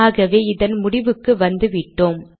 ஆகவே இதன் முடிவுக்கு வந்துவிட்டோம்